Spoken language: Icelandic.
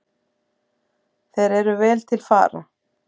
Þeir eru vel til fara.